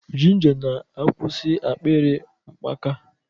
Ginger na-akwụsị akpịrị mkpaka.